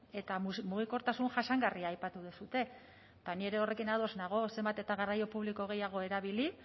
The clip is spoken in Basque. eta mugikortasun jasangarria aipatu duzue eta ni ere horrekin ados nago zenbat eta garraio publiko gehiago erabili